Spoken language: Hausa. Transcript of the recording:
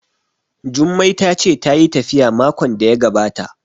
Jummai ta ce tayi tafiya makon da ya gabata